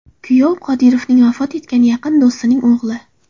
Kuyov Qodirovning vafot etgan yaqin do‘stining o‘g‘li.